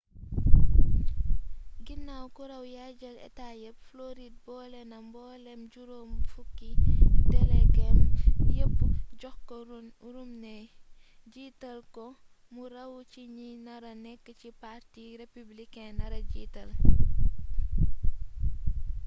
ginaaw ku raw yaay jël état yépp floride boolena mbooleem juróom-fukki delegeem yépp jox ko romney jiital ko mu raw ci ñi nara nekk ki parti républicain nara jiital